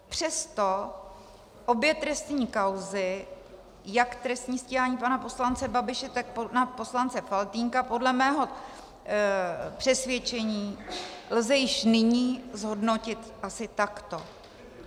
Přesto obě trestní kauzy, jak trestní stíhání pana poslance Babiše, tak pana poslance Faltýnka, podle mého přesvědčení lze již nyní zhodnotit asi takto.